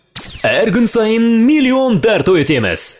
әр күн сайын миллион тарту етеміз